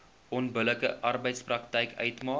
onbillike arbeidspraktyk uitmaak